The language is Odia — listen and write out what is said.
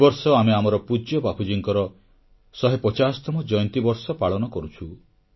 ଏ ବର୍ଷ ଆମେ ଆମର ପୂଜ୍ୟ ବାପୁଜୀଙ୍କର ଶହେ ପଚାଶତମ ଜୟନ୍ତୀ ବର୍ଷ ପାଳନ କରୁଛୁ